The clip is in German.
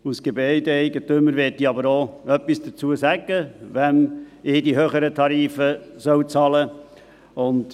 Als Gebäudeeigentümer möchte ich aber auch etwas dazu sagen, wem ich die höheren Tarife bezahlen soll.